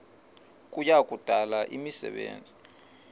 kuya kudala imisebenzi